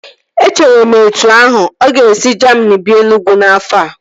Echere m etu ahu, ọ ga-esi Jamini bịa Enugwu n'afọ a